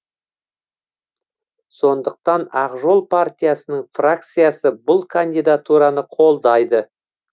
сондықтан ақ жол партиясының фракциясы бұл кандидатураны қолдайды